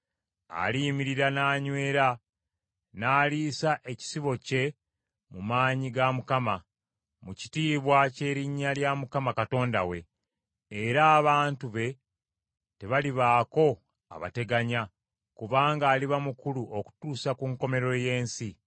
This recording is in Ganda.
Aliyimirira n’anyweera n’aliisa ekisibo kye mu maanyi ga Mukama , mu kitiibwa ky’erinnya lya Mukama Katonda we. Era abantu be tebalibaako abateganya, kubanga aliba mukulu okutuusa ku nkomerero y’ensi.